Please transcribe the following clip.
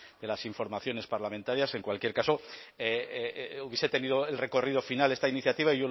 de las informaciones parlamentarias en cualquier caso hubiese tenido el recorrido final esta iniciativa